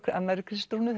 annarri Kristrúnu